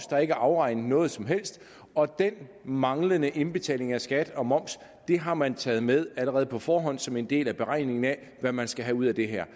der ikke er afregnet noget som helst og den manglende indbetaling af skat og moms har man taget med allerede på forhånd som en del af beregningen af hvad man skal have ud af det her